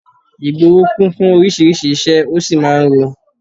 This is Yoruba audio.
Ìgboro kún fún oríṣiríṣi ìṣe, ó sì máa ń rọ́